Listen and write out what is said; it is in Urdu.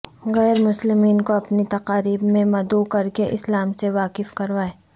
غیر مسلمین کو اپنی تقاریب میں مدعو کرکے اسلام سے واقف کروائیں